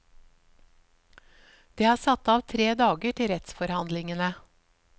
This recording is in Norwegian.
Det er satt av tre dager til rettsforhandlingene.